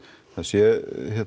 það sé